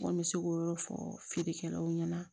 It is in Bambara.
N kɔni bɛ se k'o yɔrɔ fɔ feerekɛlaw ɲɛna